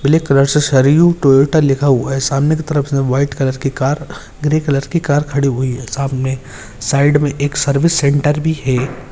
Black सा सरिव Toyota लिखा हुआ है सामने की तरफ से व्हाइट कलर की कार ग्रे कलर की कार खड़ी हुई है। सामने साइड मे एक सर्विस सेंटर भी है।